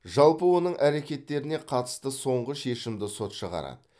жалпы оның әрекеттеріне қатысты соңғы шешімді сот шығарады